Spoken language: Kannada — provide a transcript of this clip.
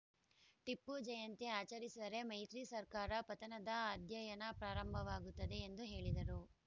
ಟಿಪ್ಪು ಜಯಂತಿ ಆಚರಿಸಿದರೆ ಮೈತ್ರಿ ಸರ್ಕಾರ ಪತನದ ಅಧ್ಯಯನ ಪ್ರಾರಂಭವಾಗುತ್ತದೆ ಎಂದು ಹೇಳಿದರು